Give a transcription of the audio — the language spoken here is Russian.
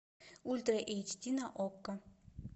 ультра эйч ди на окко